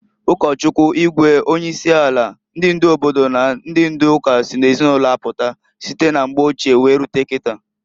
Ụkọchukwu, igwe, onye isi ala, ndị ndu obodo na ndị ndu ụka sị n'ezinụlọ apụta, site na mgbe ochie were rute kita.